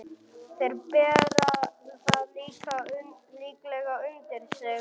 Þeir bera það líklega undir þig.